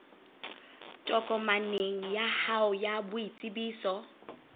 tokomaneng ya hao ya boitsebiso